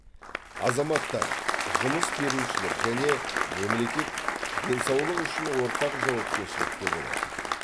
азаматтар жұмыс берушілер және мемлекет денсаулық үшін ортақ жауапкершілікте болады